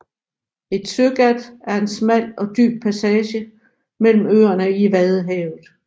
Et søgat er en smal og dyb passage mellem øerne i Vadehavet